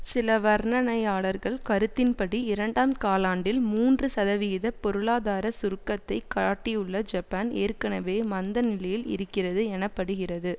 சில வர்ணனையாளர்கள் கருத்தின்படி இரண்டாம் காலாண்டில் மூன்று சதவிகித பொருளாதார சுருக்கத்தை காட்டியுள்ள ஜப்பான் ஏற்கனவே மந்த நிலையில் இருக்கிறது எனப்படுகிறது